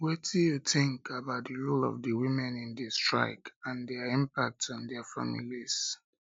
wetin you think about di role of di women in di strike and dia impact on dia families